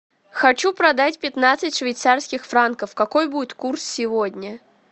хочу продать пятнадцать швейцарских франков какой будет курс сегодня